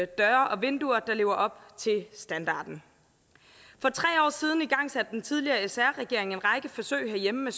døre og vinduer der lever op til standarden for tre år siden igangsatte den tidligere sr regering en række forsøg herhjemme